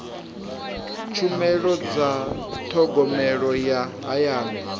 tshumelo dza thogomelo ya hayani